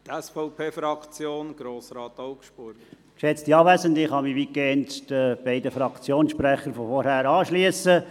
Ich kann mich weitgehend den beiden vorhergehenden Fraktionssprechern anschliessen.